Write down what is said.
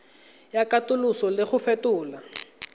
ya katoloso le go fetola